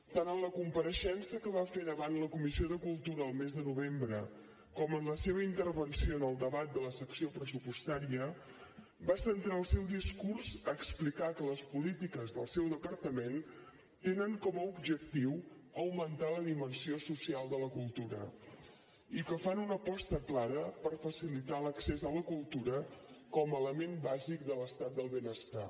tant en la compareixença que va fer davant la comissió de cultura el mes de novembre com en la seva intervenció en el debat de la secció pressupostària va centrar el seu discurs a explicar que les polítiques del seu departament tenen com a objectiu augmentar la dimensió social de la cultura i que fan una aposta clara per facilitar l’accés a la cultura com a element bàsic de l’estat del benestar